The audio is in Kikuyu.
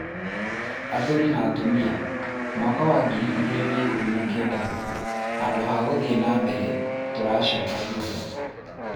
Athuri na tumia, mwaka wa ngiri igĩrĩ na ikũmi na kenda handũ ha gũthiĩ na mbere tũracoka thutha